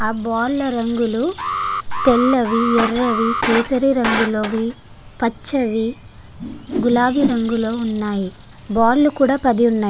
ఆ బాల్ల రంగులు తెల్లవి యెర్రవి కేసరి రంగులోవి పచ్చవి గులాబీ రంగులో ఉన్నాయి బాలు కూడా పది ఉన్నాయి.